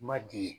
Ma di